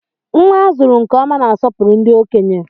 Nnwa a zụrụ nke ọma na-asopuru ndị okenye.